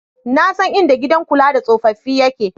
Na san inda gidan kula da tsofaffi yake.